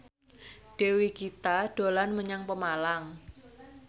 Dewi Gita dolan menyang Pemalang